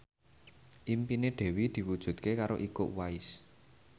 impine Dewi diwujudke karo Iko Uwais